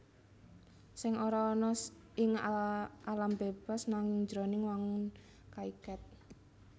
Sèng ora ana ing alam bébas nanging jroning wangun kaiket